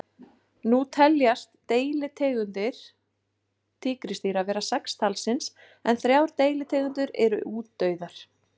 Nú teljast deilitegundir tígrisdýra vera sex talsins en þrjár deilitegundir eru útdauðar.